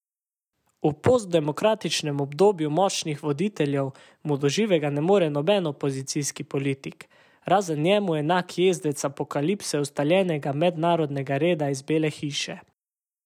V postdemokratičnem obdobju močnih voditeljev mu do živega ne more noben opozicijski politik, razen njemu enak jezdec apokalipse ustaljenega mednarodnega reda iz Bele hiše.